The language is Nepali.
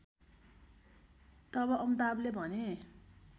तब अमिताभले भने